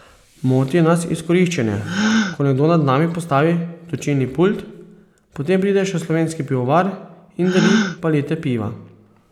Moti nas izkoriščanje, ko nekdo nad nami postavi točilni pult, potem pride še slovenski pivovar in deli palete piva ...